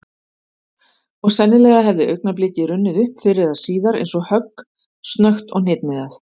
Og sennilega hefði augnablikið runnið upp fyrr eða síðar eins og högg, snöggt og hnitmiðað.